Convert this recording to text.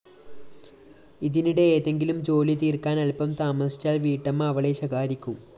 ഇതിനിടെ ഏതെങ്കിലും ജോലിതീര്‍ക്കാന്‍ അല്പം താമസിച്ചാല്‍ വീട്ടമ്മ അവളെ ശകാരിക്കും